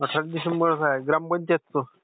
अठरा डिसेंबरचं आहे ग्रामपंचायतचं?